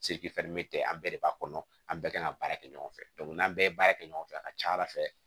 an bɛɛ de b'a kɔnɔ an bɛɛ kan ka baara kɛ ɲɔgɔn fɛ n'an bɛɛ ye baara kɛ ɲɔgɔn fɛ a ka ca ala fɛ